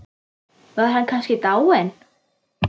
Var hann kannski dáinn?